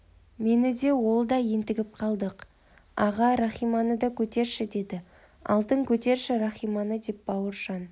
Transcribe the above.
мен де ол да ентігіп қалдық аға рахиманы да көтерші деді алтын көтерші рахиманы деп бауыржан